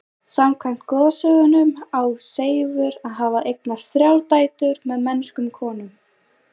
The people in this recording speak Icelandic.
Samkvæmt goðsögunum á Seifur að hafa eignast þrjár dætur með mennskum konum.